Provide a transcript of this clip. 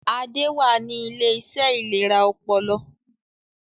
Adé wà ní Iléeṣẹ́ ìlera ọpọlọ